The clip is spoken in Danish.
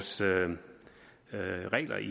sådan